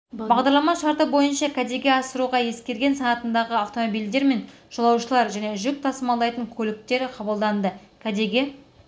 бағдарлама шарты бойынша кәдеге асыруға ескірген санатындағы автомобильдер мен жолаушылар және жүк тасымалдайтын көліктер қабылданады кәдеге